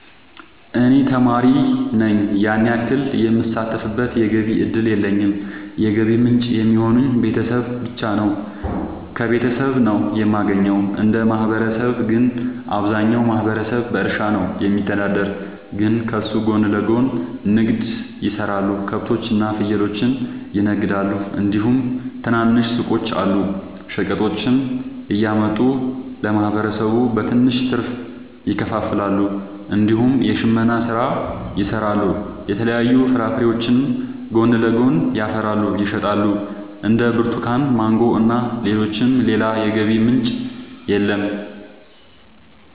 እኔ ተማሪ ነኝ ያን ያክል የምሳተፍበት የገቢ እድል የለኝም የገቢ ምንጭ የሚሆኑኝ ቤተሰብ ብቻ ነው። ከቤተሰብ ነው የማገኘው። እንደ ማህበረሰብ ግን አብዛኛው ማህበረሰብ በእርሻ ነው የሚተዳደር ግን ከሱ ጎን ለጎን ንግድ የሰራሉ ከብቶች እና ፍየሎችን ይነግዳሉ እንዲሁም ትናንሽ ሱቆች አሉ። ሸቀጦችን እያመጡ ለማህበረሰቡ በትንሽ ትርፍ ያከፋፍላሉ። እንዲሁም የሽመና ስራ ይሰራሉ የተለያዩ ፍራፍሬዎችንም ጎን ለጎን ያፈሩና ይሸጣሉ እንደ ብርቱካን ማንጎ እና ሌሎችም። ሌላ የገቢ ምንጭ የለም።